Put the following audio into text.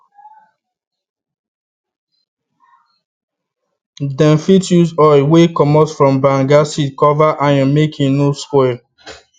them fit use oil wey commot from banga seeds cover iron make e no spoil